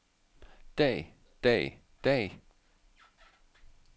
dag dag dag